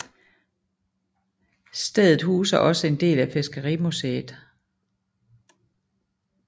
Stedet huser også en del af fiskerimuseet